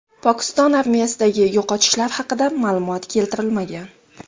Pokiston armiyasidagi yo‘qotishlar haqida ma’lumot keltirilmagan.